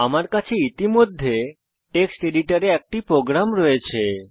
আমরা কাছে ইতিমধ্যে টেক্সট এডিটর এ একটি প্রোগ্রাম রয়েছে